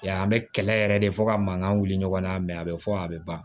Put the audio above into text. Ya an bɛ kɛlɛ yɛrɛ de fɔ ka mankan wuli ɲɔgɔn na mɛ a bɛ fɔ a bɛ ban